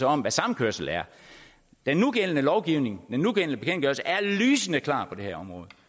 om hvad samkørsel er den nugældende lovgivning den nugældende bekendtgørelse er lysende klar på det her område